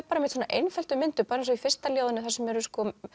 bara með svona einföldum myndum eins og í fyrsta ljóðinu þar sem eru